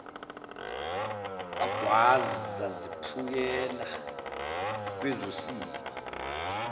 wagwaza zephukela kwezosiba